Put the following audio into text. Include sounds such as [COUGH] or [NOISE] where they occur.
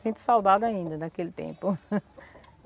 Sinto saudade ainda daquele tempo. [LAUGHS]